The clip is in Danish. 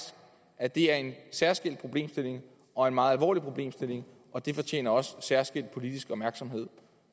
at det er en særskilt problemstilling og en meget alvorlig problemstilling og den fortjener også særskilt politisk opmærksomhed